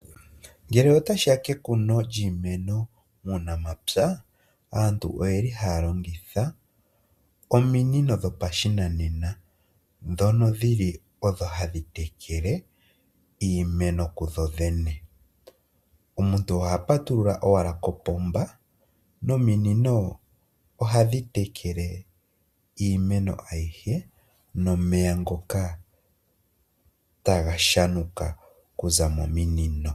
Ngele ota shi ya kekuno lyiimeno muunamapya, aantu oye li ha ya longitha ominino dhopashinanena ndho dhili odho ha dhi tekele, iimeno kudhodhene. Omuntu oha patulula owala opomba, nominino oha dhi tekele iimeno ayihe, nomeya ngoka ta ga shanuka okuza mominino.